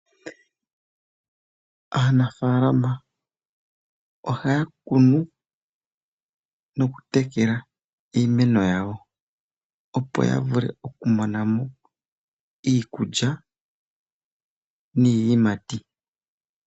Aanafaalama ohaya kunu noku tekela iimeno yawo opo ya vule oku mona mo iikulya niiyimati.